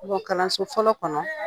Don kalanso fɔlɔ kɔnɔ